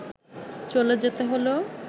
চলে যেতে হলো